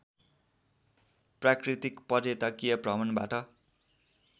प्राकृतिक पर्यटकीय भ्रमणबाट